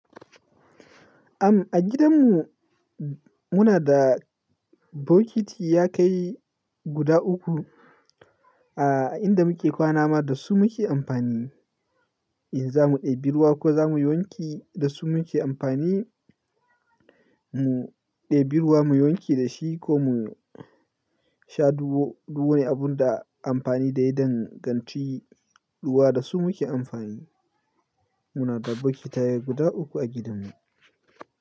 Am, a gidan mu muna da bokiti ya kai guda uku. A inda muke kwana ma da su muke amfani. In za mu ɗebi ruwa ko za mu yi wanki, da su muke amfani. Mu ɗebi ruwa mu yi wanki da shi ko mu sha duwuo. Duw wanu abun da amfani da yi danganci ruwa da su muke amfani. Muna da bokitai guda uku a gidan mu.